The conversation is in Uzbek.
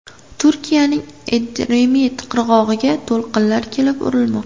Turkiyaning Edremit qirg‘og‘iga to‘lqinlar kelib urilmoqda.